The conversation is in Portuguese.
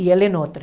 E ela em outra.